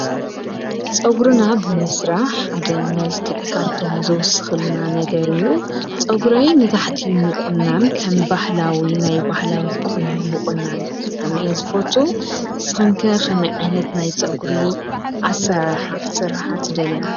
ፀጉርና ብምስራሕ ሓደ መልክዕ ካብቶም ዝውሱኹልና ነገር እዩ፡፡ ፀጉረይ ንታሕቲ ምቑናን ከም ባህላዊ ናይ ባህላዊ ቁኖ ምቁናን ብጣዕሚ እየ ዝፈትው፡፡ ንስኽንከ ከመይ ዓይነት ናይ ፀጉሪ ኣሰራርሓ ክትስርሓ ትደልያ?